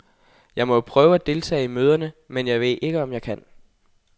Jeg må jo prøve at deltage i møderne, men jeg ved ikke, om jeg kan.